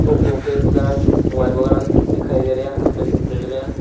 Oppo के वगैरह mobile वगैरह दिखाई दे रहे हैं मिल रहे हैं।